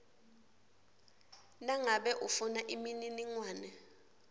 nangabe ufuna imininingwane